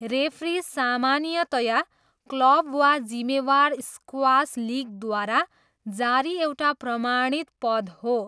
Referee सामान्यतया club वा जिम्मेवार स्क्वास लिगद्वारा जारी एउटा प्रमाणित पद हो।